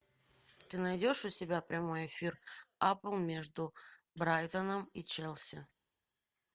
ты найдешь у себя прямой эфир апл между брайтоном и челси